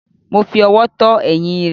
Mo fi ọwọ́ tọ́ ẹ̀yìn rẹ̀.